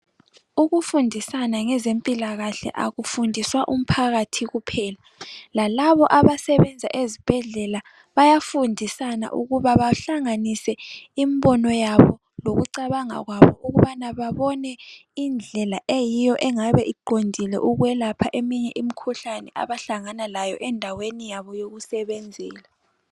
Ukufundisana ngezempilakahle akufundiswa umphakathi kuphela lalabo abasebenza ezibhedlela bayafundisana ukuba bahlanganise imbono yabo lokucabanga kwabo ukubana babone indlela eyiyo engabe iqondile ukwelapha eminye imkhuhlane abahlangana layo endaweni yabo yokusebenzela.